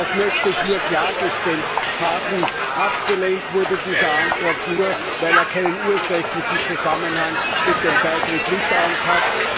Das möchte ich nur klargestellt haben. Abgelehnt wurde dieser Antrag nur, weil er keinen ursächlichen Zusammenhang mit dem Beitritt Litauens hat.